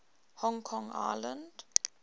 hong kong island